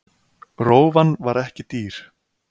Rófan var ekki dýr.